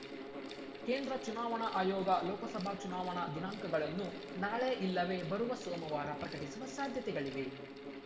ಕೇಂದ್ರ ಚುನಾವಣಾ ಆಯೋಗ ಲೋಕಸಭಾ ಚುನಾವಣಾ ದಿನಾಂಕಗಳನ್ನು ನಾಳೆ ಇಲ್ಲವೆ ಬರುವ ಸೋಮವಾರ ಪ್ರಕಟಿಸುವ ಸಾಧ್ಯತೆಗಳಿವೆ